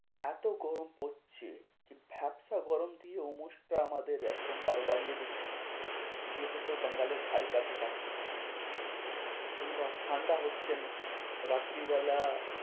এত গরম পড়ছে, ভ্যাপসা গরম থেকে ওমোস্তা আমাদের একদম বারো বাজিয়ে দিচ্ছে যেহেতু বাঙালির ধারী কাছা কাছি এবার ঠান্ডা হচ্ছে না, রাত্রীবেলা